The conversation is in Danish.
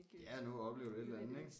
Ja nå at opleve et eller andet ik